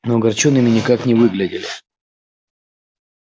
но огорчёнными никак не выглядели